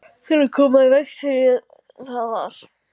Til að koma í veg fyrir það var